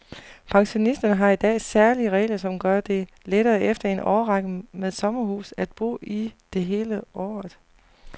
Pensionister har i dag særlige regler, som gør det lettere efter en årrække med sommerhus at bo i det hele året.